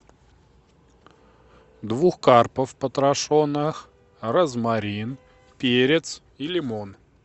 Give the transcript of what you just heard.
двух карпов потрошенных розмарин перец и лимон